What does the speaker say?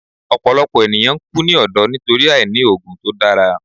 Ọpọlọpọ eniyan n ku ni ọdọ nitori aini oogun to dara